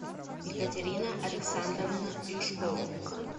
екатерина александровна юшкова